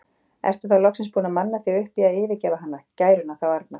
Ertu þá loksins búinn að manna þig upp í að yfirgefa hana, gæruna þá arna?